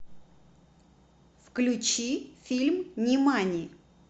включи фильм нимани